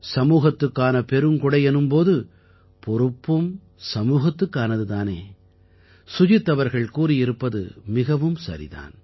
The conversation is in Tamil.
சமூகத்துக்கான பெருங்கொடை எனும் போது பொறுப்பும் சமூகத்துக்கானது தானே சுஜித் அவர்கள் கூறியிருப்பது மிகவும் சரி தான்